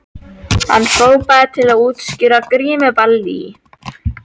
Hann hrópaði til útskýringar: Grímuball í